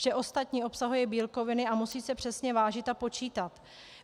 Vše ostatní obsahuje bílkoviny a musí se přesně vážit a počítat.